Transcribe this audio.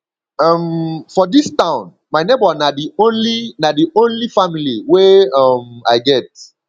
um for dis town my nebor na di only na di only family wey um i get